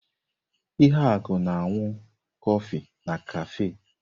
Ihuaku na-aṅụ kọfị na kafe.